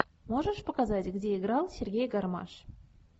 можешь показать где играл сергей гармаш